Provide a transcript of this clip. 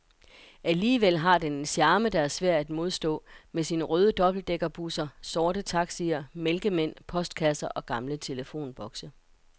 Alligevel har den en charme, der er svær at modstå, med sine røde dobbeltdækkerbusser, sorte taxier, mælkemænd, postkasser og gamle telefonbokse.